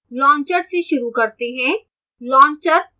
launcher से शुरू करते हैं